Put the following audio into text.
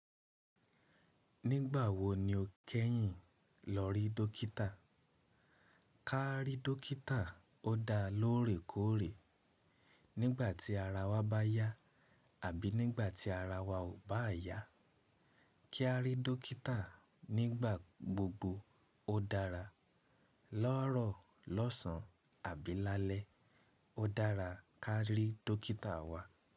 Nígbà wo ni o kẹ́yìn lọ rí dókítà? Ká rí dókítà ó dá lóòrèkóòrè. Nígbà tí ara wa bá yá àbí nígbà tí ara wa ò bá yá, kí a rí dókítà nígbà gbogbo ó dára. Lọ́ọ̀rọ́ lọ́sàn àbí lálẹ́, ó dára ká rí dókítà wa.